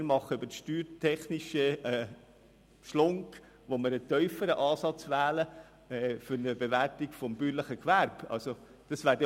Wir machen also einen steuertechnischen Umweg, wenn wir für die Bewertung eines bäuerlichen Gewerbes einen tieferen Ansatz wählen.